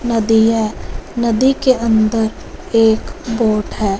नदी है नदी के अंदर एक बोट है।